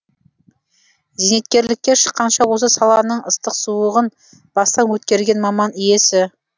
зейнеткерлікке шыққанша осы саланың ыстық суығын бастан өткерген маман иесі